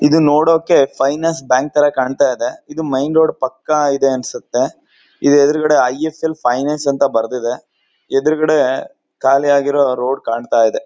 ಇದು ನೋಡೋಕೆ finance bank ತರ ಕಾಣ್ತಾ ಇದೆ ಇದು ಮೇನ್ ರೋಡ್ ಪಕ್ಕ ಇದೆ ಅನಿಸುತ್ತೆ. ಇದರ ಎದುರುಗಡೆ ಐ.ಎಸ್.ಎಲ್. ಫೈನಾನ್ಸ್ ಅಂತ ಬರೆದಿದೆ ಎದುರುಗಡೆ ಖಾಲಿಯಾಗಿರೋ ರೋಡ್ ಕಾಣ್ತಾ ಇದೆ.